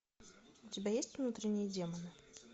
у тебя есть внутренние демоны